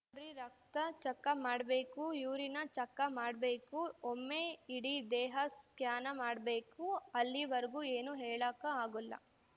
ನೋಡ್ರಿ ರಕ್ತ ಚಕ್ಕ ಮಾಡ್ಬೇಕು ಯೂರಿನ ಚಕ್ಕ ಮಾಡ್ಬೇಕು ಒಮ್ಮೇ ಇಡೀ ದೇಹ ಸ್ಕ್ಯಾ‌ನ ಮಾಡ್ಬೇಕು ಅಲ್ಲಿವರ್ಗೂ ಏನು ಹೇಳಾಕ ಆಗುಲ್ಲ